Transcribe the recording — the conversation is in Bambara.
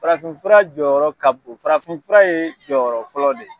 Farafinfura jɔyɔrɔ ka bon farafinfura ye jɔyɔrɔ fɔlɔ de ye.